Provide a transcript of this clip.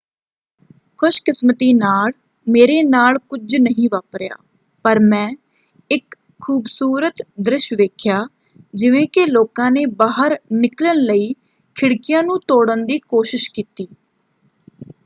"ਖੁਸ਼ਕਿਸਮਤੀ ਨਾਲ ਮੇਰੇ ਨਾਲ ਕੁਝ ਨਹੀਂ ਵਾਪਰਿਆ ਪਰ ਮੈਂ ਇੱਕ ਖੂਬਸੂਰਤ ਦ੍ਰਿਸ਼ ਵੇਖਿਆ ਜਿਵੇਂ ਕਿ ਲੋਕਾਂ ਨੇ ਬਾਹਰ ਨਿਕਲਣ ਲਈ ਖਿੜਕੀਆਂ ਨੂੰ ਤੋੜਨ ਦੀ ਕੋਸ਼ਿਸ਼ ਕੀਤੀ।